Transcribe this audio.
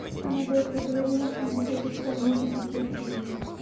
она до этого говорила что она хочет поняньчить детей тимы